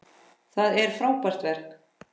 Það er frábært verk.